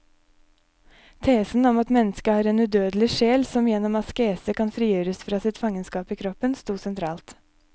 Tesen om at mennesket har en udødelig sjel som gjennom askese kan frigjøres fra sitt fangenskap i kroppen, stod sentralt.